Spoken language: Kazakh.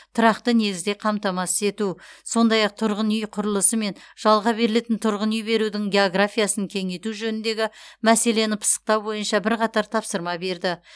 тұрақты негізде қамтамасыз ету сондай ақ тұрғын үй құрылысы мен жалға берілетін тұрғын үй берудің географиясын кеңейту жөніндегі мәселені пысықтау бойынша бірқатар тапсырма берді